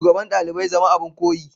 shugaban dalibai zama abin koyi.